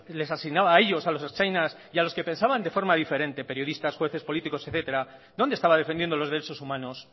les asignaba a ellos a los ertzainas y a los que pensaban de forma diferente periodistas jueces políticos etcétera dónde estaba defendiendo los derechos humanos